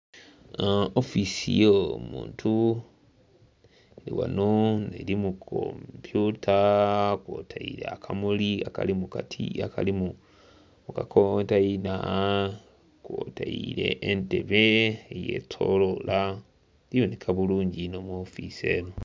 Ofiisi eyo omuntu eri ghano eri mu kompyuta kwotaire akamuli akali mukatiya akali mukakontaina kwotaire n'entebe eyetolola ebooneka bulungi inho mu ofiisi eno.